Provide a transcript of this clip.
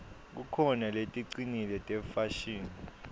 kukhona leticinile tefashini